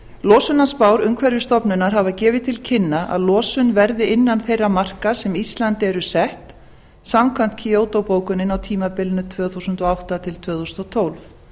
losunarspár umhverfisstofnunar hafa gefið til kynna að losun verði innan þeirra marka sem íslandi eru sett samkvæmt kyoto bókuninni á tímabilinu tvö þúsund og átta til tvö þúsund og tólf